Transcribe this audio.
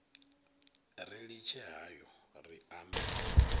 ri litshe hayo ri ambe